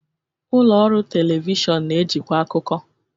Ụlọ ọrụ telivishọn na-ejikwa akụkọ.